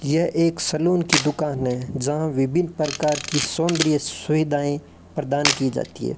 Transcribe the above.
यह एक सलून की दुकान है जहां विभिन्न प्रकार की सौंदर्य सुविधाएं प्रदान की जाती है।